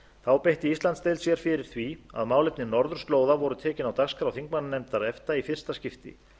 þá beitti íslandsdeild sér fyrir því að málefni norðurslóða voru tekin á dagskrá þingmannanefndar efta í fyrsta skipti